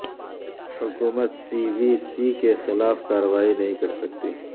حکومت C V C کے خلاف کارروائی نہیں کرسکتی